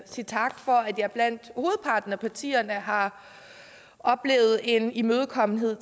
sige tak for at jeg blandt hovedparten af partierne har oplevet en imødekommenhed